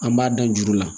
An b'a dan juru la